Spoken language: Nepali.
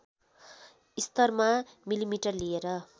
स्तरमा मिलिमिटर लिए